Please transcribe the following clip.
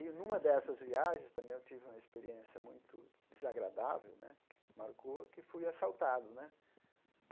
E, numa dessas viagens, também eu tive uma experiência muito desagradável né, que marcou, que fui assaltado né.